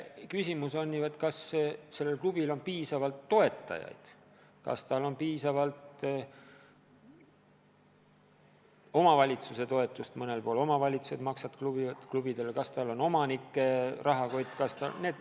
Küsimus on, kas konkreetsel klubil on piisavalt toetajaid, kas tal on piisavalt omavalitsuse toetust – mõnel pool omavalitsused maksavad klubidele –, kas ta saab tugineda omanike rahakotile.